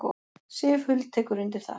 Sif Huld tekur undir það.